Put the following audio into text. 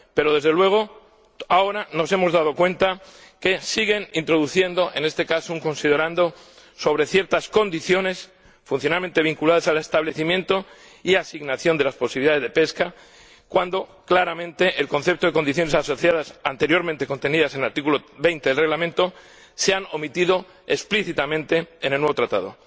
Pero, desde luego, ahora nos hemos dado cuenta de que siguen introduciendo, en este caso, un considerando sobre ciertas condiciones, funcionalmente vinculadas al establecimiento y asignación de las posibilidades de pesca, cuando claramente el concepto de condiciones asociadas, anteriormente contenidas en el artículo 20 del Reglamento, se ha omitido explícitamente en el nuevo Tratado.